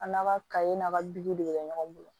An n'a ka kaye n'a ka de bɛ kɛ ɲɔgɔn bolo